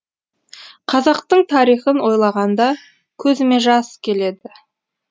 қазақтың тарихын ойлағанда көзіме жас келеді